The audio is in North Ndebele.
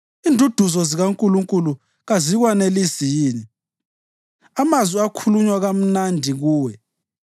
Induduzo zikaNkulunkulu kazikwanelisi yini, amazwi akhulunywa kamnandi kuwe?